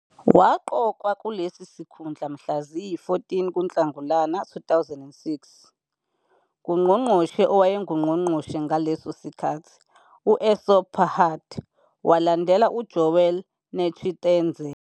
Waqokwa kulesi sikhundla mhla ziyi-14 kuNhlangulana 2006 nguNgqongqoshe owayenguNgqongqoshe ngaleso sikhathi u- Essop Pahad, walandela uJoel Netshitenzhe.